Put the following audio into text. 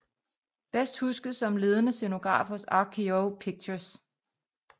Bedst husket som ledende scenograf hos RKO Pictures